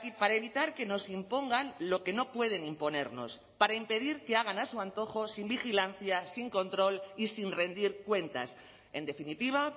para evitar que nos impongan lo que no pueden imponernos para impedir que hagan a su antojo sin vigilancia sin control y sin rendir cuentas en definitiva